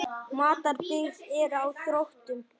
Matarbirgðir eru á þrotum.